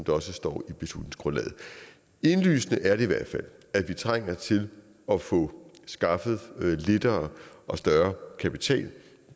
også står i beslutningsgrundlaget indlysende er det i hvert fald at vi trænger til at få skaffet lettere og større kapital